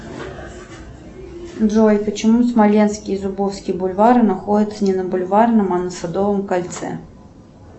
джой почему смоленский и зубовский бульвары находятся не на бульварном а на садовом кольце